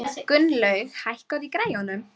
Gunnlaug, hækkaðu í græjunum.